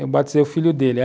Eu batizei o filho dele.